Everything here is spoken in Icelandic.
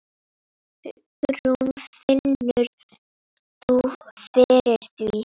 Hugrún: Finnur þú fyrir því?